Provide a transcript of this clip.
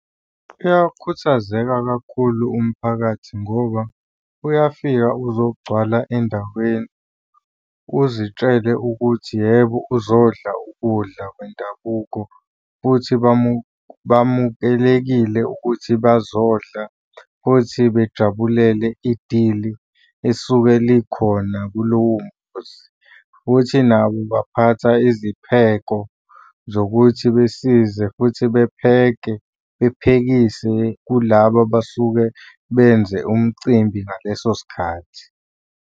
Uyakhuthazeka kakhulu umphakathi ngoba uyafika uzogcwala endaweni uzitshele ukuthi yebo uzodla ukudla kwendabuko, futhi bamukelekile ukuthi bazodla futhi bejabulele idili esuke likhona kulowo mkhosi, futhi nabo baphatha izipheko zokuthi besize futhi bepheke bephekise kulaba abasuke benze umcimbi ngaleso sikhathi.